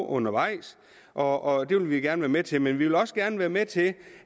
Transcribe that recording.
undervejs og det vil vi gerne være med til men vi vil også gerne være med til